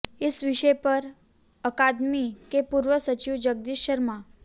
इस विषय पर अकादमी के पूर्व सचिव जगदीश शर्मा